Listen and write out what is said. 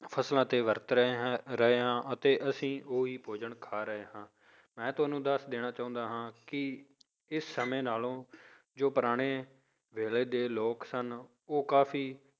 ਫਸਲਾਂ ਤੇ ਵਰਤ ਰਹੇ ਹਾਂ ਰਹੇ ਹਾਂ ਅਤੇ ਅਸੀਂ ਉਹੀ ਭੋਜਨ ਖਾ ਰਹੇ ਹਾਂ, ਮੈਂ ਤੁਹਾਨੂੰ ਦੱਸ ਦੇਣਾ ਚਾਹੁੰਦਾ ਹਾਂ ਕਿ ਇਸ ਸਮੇਂ ਨਾਲੋਂ ਜੋ ਪੁਰਾਣੇ ਵੇਲੇ ਦੇ ਲੋਕ ਸਨ ਉਹ ਕਾਫ਼ੀ